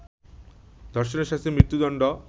ধর্ষণের শাস্তি মৃত্যুদণ্ড